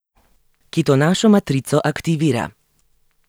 Ki to našo matrico aktivira.